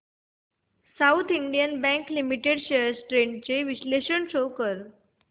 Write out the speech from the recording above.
south Indian Bank Limited shares trends चे विश्लेषण show कर